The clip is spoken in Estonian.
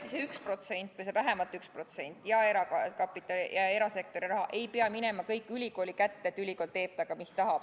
Tõesti, see 1% – või vähemalt 1% – ja erasektori raha ei pea minema kõik ülikooli kätte, nii et ülikool teeb sellega, mis tahab.